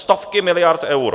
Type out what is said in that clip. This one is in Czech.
Stovky miliard eur!